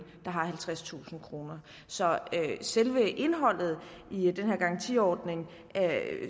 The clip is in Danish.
der har halvtredstusind kroner så selve indholdet i den her garantiordning